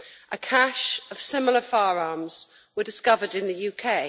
A cache of similar firearms was discovered in the UK.